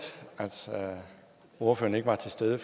ordføreren ikke var til stede